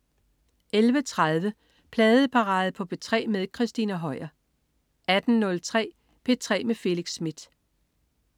11.30 Pladeparade på P3 med Christina Høier 18.03 P3 med Felix Smith